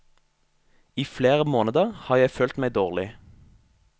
I flere måneder har jeg følt meg dårlig.